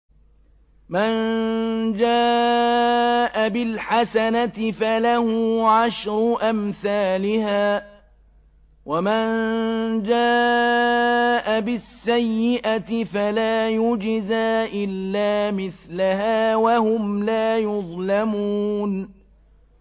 مَن جَاءَ بِالْحَسَنَةِ فَلَهُ عَشْرُ أَمْثَالِهَا ۖ وَمَن جَاءَ بِالسَّيِّئَةِ فَلَا يُجْزَىٰ إِلَّا مِثْلَهَا وَهُمْ لَا يُظْلَمُونَ